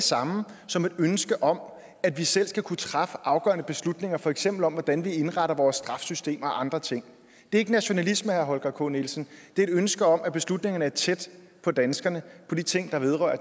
samme som et ønske om at vi selv skal kunne træffe afgørende beslutninger for eksempel om hvordan vi indretter vores retssystem og andre ting det er ikke nationalisme herre holger k nielsen det er et ønske om at beslutningerne er tæt på danskerne og de ting